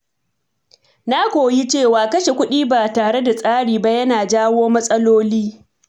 Na koyi cewa kashe kuɗi ba tare da tsari ba yana jawo matsaloli.